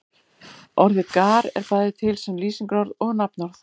Orðið gar er bæði til sem lýsingarorð og nafnorð.